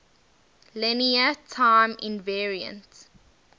linear time invariant